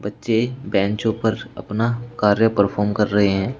बच्चे बेंचों पर अपना कार्य परफॉर्म कर रहे हैं।